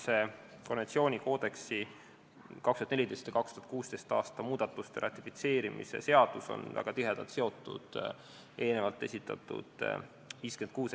See konventsiooni koodeksi 2014. ja 2016. aasta muudatuste ratifitseerimise seaduse eelnõu on väga tihedalt seotud eelnevalt esitletud eelnõuga 56.